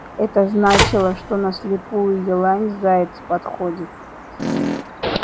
это значило что на слепую елань заяц подходит